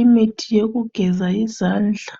imithi yokugeza izandla